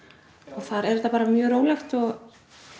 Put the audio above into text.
þar er þetta mjög rólegt og